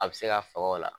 A bɛ se ka faga o la